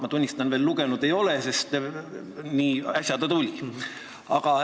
Ma tunnistan, et lugenud ma seda veel ei ole, sest alles äsja see tuli.